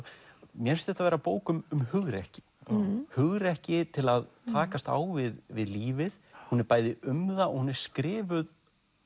mér finnst þetta vera bók um hugrekki hugrekki til að takast á við við lífið hún er bæði um það og hún er skrifuð